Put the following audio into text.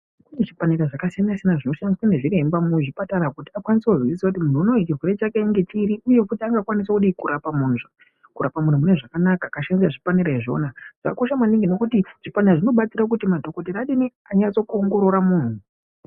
Kune zvipanera zvakasiyana siyana zvinoshandiswa nezviremba kuti vakwanise kuzwisisa kuti munhu unoti chirwere chake ngechiro uye futi vangakwanise kudiii kurapa munhu, kurapa munhu mune zvakanaka akashandisa zvipanera izvona zvakakosha maningi ngekuti zvipanera zvinobatsira kuti madhokoteya adini anyatso kuongorora munhu.